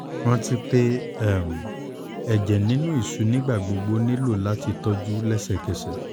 ranti pe um ẹjẹ ninu iṣu nigbagbogbo nilo lati tọju lẹsẹkẹsẹ